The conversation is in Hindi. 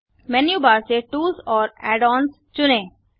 मेन्यू बार से टूल्स और एडन्स चुनें